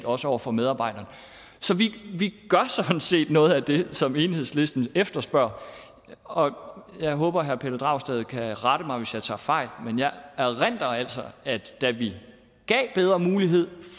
også over for medarbejderne så vi gør sådan set noget af det som enhedslisten efterspørger og jeg håber herre pelle dragsted kan rette mig hvis jeg tager fejl men jeg erindrer altså at da vi gav bedre mulighed